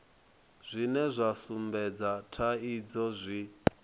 zwine zwa sumbedza thaidzo zwi